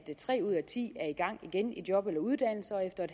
tre ud af ti er i gang igen i job eller uddannelse og efter